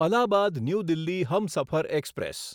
Allahabad new Delhi Humsafar express